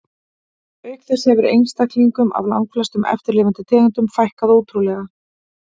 Auk þess hefur einstaklingum af langflestum eftirlifandi tegundum fækkað ótrúlega.